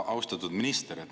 Austatud minister!